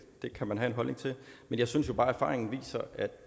kan man have en holdning til men jeg synes jo bare at erfaringen viser